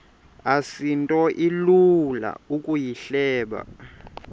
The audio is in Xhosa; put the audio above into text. asinto ilula ukuyihleba